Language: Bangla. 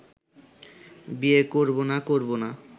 বিয়ে করব না করব না